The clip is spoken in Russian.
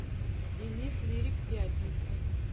денис лирик пятница